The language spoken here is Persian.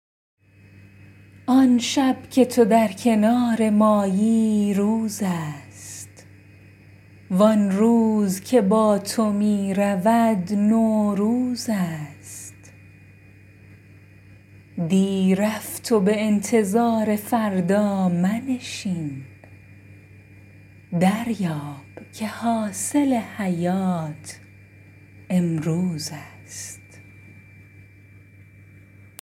آن شب که تو در کنار مایی روزست و آن روز که با تو می رود نوروزست دی رفت و به انتظار فردا منشین دریاب که حاصل حیات امروزست